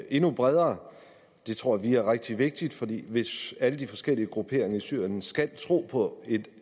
endnu bredere det tror vi er rigtig vigtigt fordi hvis alle de forskellige grupperinger i syrien skal tro på